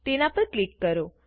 તેના પર ક્લિક કરો